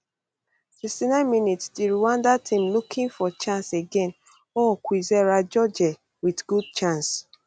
sixty nine mins di rwanda team looking for chance again ooo kwizera jojea wit good chance